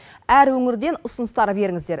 әр өңірден ұсыныстар беріңіздер